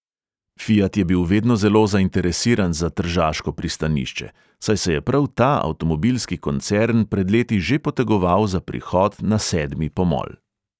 Fiat je bil vedno zelo zainteresiran za tržaško pristanišče, saj se je prav ta avtomobilski koncern pred leti že potegoval za prihod na sedmi pomol.